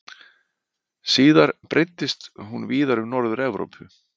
Síðar breiddist hún víðar um Norður-Evrópu.